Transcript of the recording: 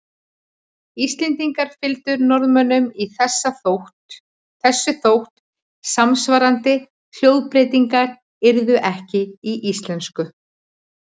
Íslendingar fylgdu Norðmönnum í þessu þótt samsvarandi hljóðbreytingar yrðu ekki í íslensku.